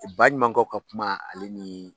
O baɲumankɛw ka kuma ale ni